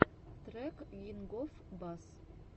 трек кингофбасс